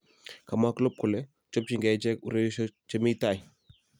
Kamwa Klopp kole chopchinge ichek ureriosyek Che mi tai